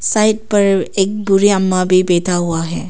Side पर एक बूढ़ी अम्मा भी बैठा हुआ है।